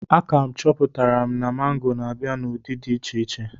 A ka chọpụtara m na mango na-abịa n'ụdị dị iche iche.